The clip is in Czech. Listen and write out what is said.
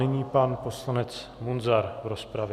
Nyní pan poslanec Munzar v rozpravě.